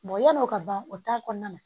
yan'o ka ban o kɔnɔna na